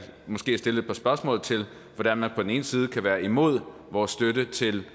måske stille et par spørgsmål til hvordan man på den ene side kan være imod vores støtte til